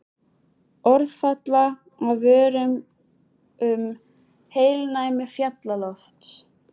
Orð falla af vörum um heilnæmi fjallalofts.